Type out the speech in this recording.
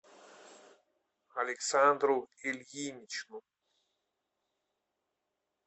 александру ильиничну